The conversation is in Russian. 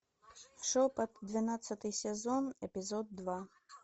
шепот двенадцатый сезон эпизод два